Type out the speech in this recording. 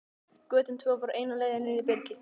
Götin tvö voru eina leiðin inn í byrgið.